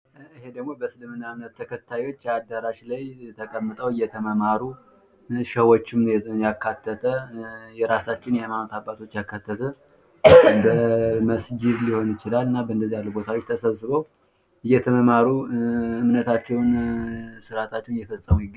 ይሄ ደግሞ በእስልምና ተከታዮች አዳራሽ ላይ ተቀምጠው እየተማማሩ። ሸሆችንም ያካተተ የራሳችን የሀይማኖት ኣባት በመስጅድ ሊሆን ይችላል እየተማማሩ እምነታቸውን ስርዓታቸውን እየፈፀሙ ይገኛል